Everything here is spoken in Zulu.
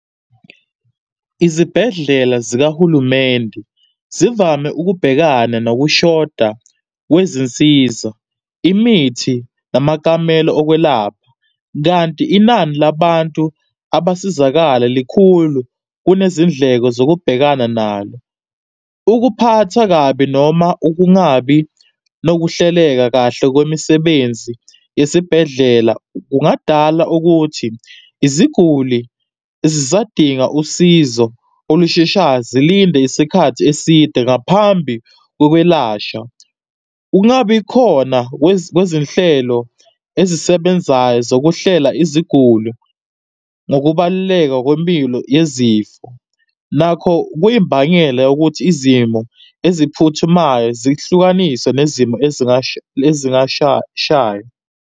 Izibhedlela zikahulumende zivame ukubhekana nokushoda kwezinsiza, imithi, namakamelo ukwelapha, kanti inani labantu abasizakala likhulu kunezindleko zokubhekana nalo. Ukuphathwa kabi noma ukungabi nokuhleleka kahle kwemisebenzi esibhedlela kungadala ukuthi iziguli zisadinga usizo olusheshayo zilinde isikhathi eside ngaphambi kokwelashwa. Ukungabi khona kwezinhlelo ezisebenzayo zokuhlela iziguli nokubaluleka kwempilo yezifo nakho kuyimbangela yokuthi izimo eziphuthumayo zihlukaniswe nezimo .